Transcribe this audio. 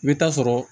I bɛ taa sɔrɔ